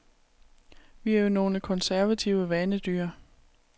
Vi er jo nogle konservative vanedyr.